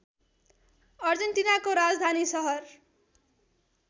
अर्जेन्टिनाको राजधानी सहर